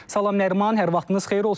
Salam Nəriman, hər vaxtınız xeyir olsun.